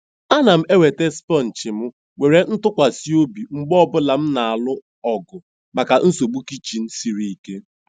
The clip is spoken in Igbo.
A na m enweta sponge m nwere ntụkwasị obi mgbe ọ bụla m na-alụ ọgụ maka nsogbu kichin siri ike.